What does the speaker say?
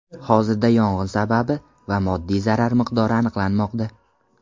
Hozirda yong‘in sababi va moddiy zarar miqdori aniqlanmoqda.